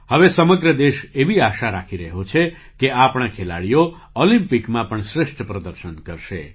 હવે સમગ્ર દેશ એવી આશા રાખી રહ્યો છે કે આપણા ખેલાડીઓ ઑલિમ્પિકમાં પણ શ્રેષ્ઠ પ્રદર્શન કરશે